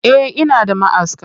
Eh ina da maʼaska.